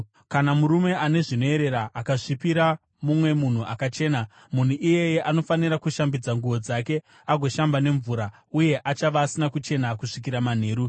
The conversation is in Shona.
“ ‘Kana murume ane zvinoerera akasvipira mumwe munhu akachena, munhu iyeye anofanira kushambidza nguo dzake agoshamba nemvura, uye achava asina kuchena kusvikira manheru.